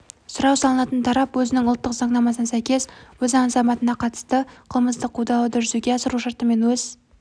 сұрау салынатын тарап өзінің ұлттық заңнамасына сәйкес өз азаматына қатысты қылмыстық қудалауды жүзеге асыру шартымен өз